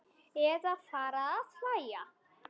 Eða fara að hlæja.